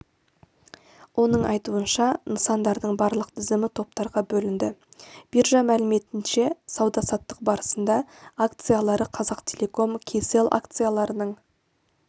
оның айтуынша нысандардың барлық тізімі топтарға бөлінді биржа мәліметінше сауда-саттық барысында акциялары қазақтелеком кселл акцияларының